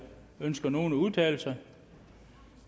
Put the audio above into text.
ønsker nogen at udtale sig da